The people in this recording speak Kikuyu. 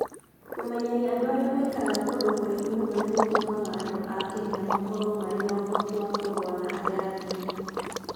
Kũmenyeria andũ arĩa maikaraga kũndũ kũraihu mũno nĩ gũtũmaga andũ a Kenya makorũo marĩ na ũhoti wa kũrũa na arĩa angĩ.